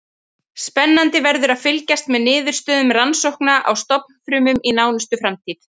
Spennandi verður að fylgjast með niðurstöðum rannsókna á stofnfrumum í nánustu framtíð.